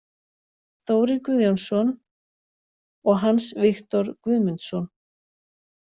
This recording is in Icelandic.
Þórir Guðjónsson og Hans Viktor Guðmundsson